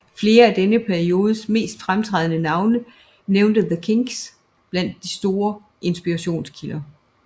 Flere af denne periodes mest fremtrædende navne nævnte The Kinks blandt deres store inspirationskilder